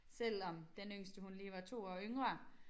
Selvom den yngste hun lige var 2 år yngre